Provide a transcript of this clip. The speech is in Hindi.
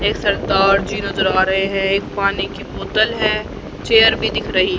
एक सरदार जी नजर आ रहे हैं एक पानी की बोतल है चेयर भी दिख रही--